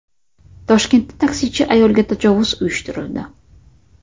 Toshkentda taksichi ayolga tajovuz uyushtirildi.